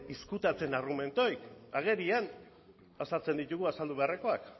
ezkutatzen argumenturik agerian azaltzen ditugu azaldu beharrekoak